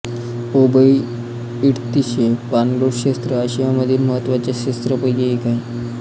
ओबइर्तिशचे पाणलोट क्षेत्र आशियामधील महत्त्वाच्या क्षेत्रांपैकी एक आहे